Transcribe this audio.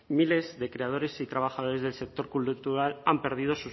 miles de creadores y trabajadores del sector cultural han perdido